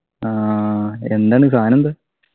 ആഹ് എന്താണ് സാനം എന്താ